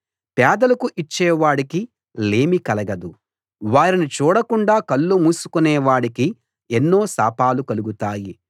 పేదలకు ఇచ్చే వాడికి లేమి కలగదు వారిని చూడకుండా కళ్ళు మూసుకునే వాడికి ఎన్నో శాపాలు కలుగుతాయి